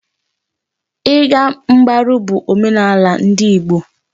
Ị ga mgbaru bụ omenala ndị Igbo.